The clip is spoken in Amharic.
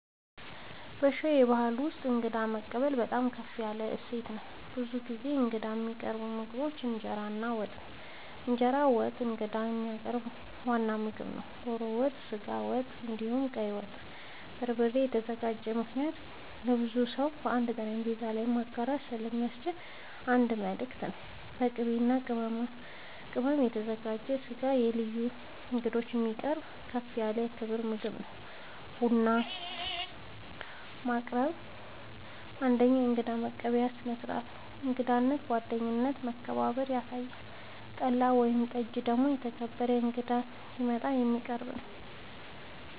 በሸዋ ባሕል ውስጥ እንግዳ መቀበል በጣም ከፍ ያለ እሴት ነው። ብዙ ጊዜ ለእንግዶች የሚቀርቡ ምግቦች ፩) እንጀራ እና ወጥ፦ እንጀራ በወጥ ለእንግዳ የሚቀርብ ዋና ምግብ ነው። ዶሮ ወጥ፣ ስጋ ወጥ፣ እንዲሁም ቀይ ወጥ( በበርበሬ የተዘጋጀ) ምክንያቱም ለብዙ ሰው በአንድ ጠረጴዛ ላይ መጋራት ስለሚያስችል የአንድነት ምልክት ነው። ፪.. በቅቤ እና በቅመም የተዘጋጀ ስጋ ለልዩ እንግዶች የሚቀርብ ከፍ ያለ የክብር ምግብ ነው። ፫. ቡና፦ ቡና ማቅረብ አንደኛዉ የእንግዳ መቀበያ ስርዓት ነው። እንግዳነትን፣ ጓደኝነትን እና መከባበርን ያሳያል። ፬ .ጠላ ወይም ጠጅ ደግሞ የተከበረ እንግዳ ሲመጣ የሚቀረብ ነዉ